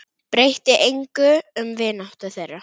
Breytti engu um vináttu þeirra.